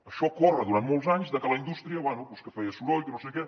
això corre durant molts anys que la indústria bé doncs que feia soroll que no sé què